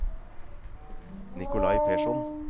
Nikolai Persson